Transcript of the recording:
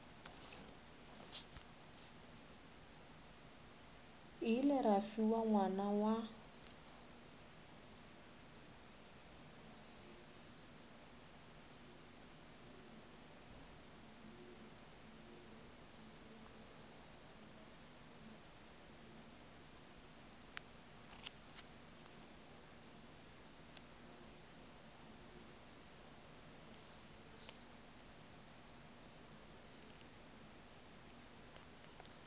ile ra fiwa ngwana wa